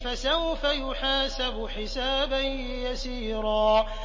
فَسَوْفَ يُحَاسَبُ حِسَابًا يَسِيرًا